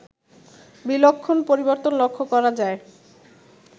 বিলক্ষণ পরিবর্তন লক্ষ করা যায়